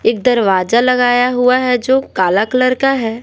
एक दरवाजा लगाया हुआ हैजो काला कलर का है।